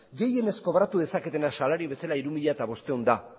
gehienezko kobratu dezaketena salario bezala hiru mila bostehun da